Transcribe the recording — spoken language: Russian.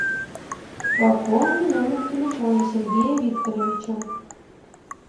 пополни номер телефона сергея викторовича